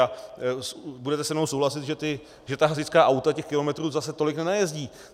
A budete se mnou souhlasit, že ta hasičská auta těch kilometrů zase tolik nenajezdí.